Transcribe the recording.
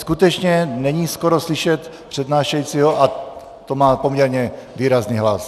Skutečně není skoro slyšet přednášejícího, a to má poměrně výrazný hlas.